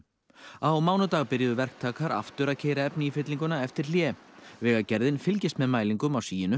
á mánudag byrjuðu verktakar aftur að keyra efni í fyllinguna eftir hlé vegagerðin fylgist með mælingum á